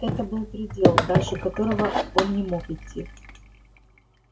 это был предел дальше которого он не мог идти